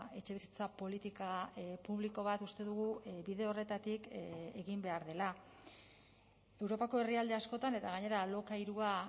etxebizitza politika publiko bat uste dugu bide horretatik egin behar dela europako herrialde askotan eta gainera alokairua